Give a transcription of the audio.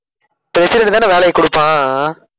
president தான வேலைய கொடுப்பான் அஹ்